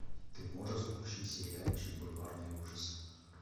ты можешь включить сериальчик бульварные ужасы